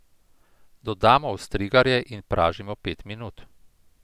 Dodamo ostrigarje in pražimo pet minut.